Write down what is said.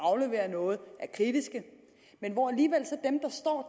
aflevere noget er kritiske